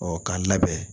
Ɔ k'an labɛn